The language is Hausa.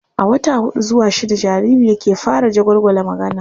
A wata huɗu zuwa shidda jariri yake fara jagwalgwala magana.